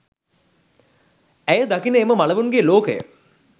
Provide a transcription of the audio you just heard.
ඇය දකින එම මළවුන්ගේ ලෝකය